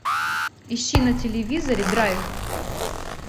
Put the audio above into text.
ищи на телевизоре драйв